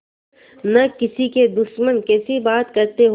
न किसी के दुश्मन कैसी बात कहते हो